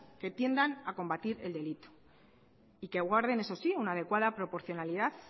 que tiendan a combatir el delito y que guarden eso sí una adecuada proporcionalidad